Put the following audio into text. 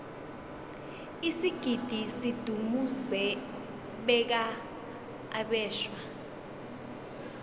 isigidi sidumuze beqa abeswa